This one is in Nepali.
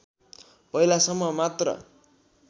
पहिलासम्म मात्र